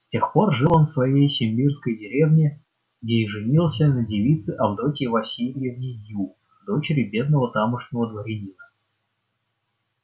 с тех пор жил он в своей симбирской деревне где и женился на девице авдотье васильевне ю дочери бедного тамошнего дворянина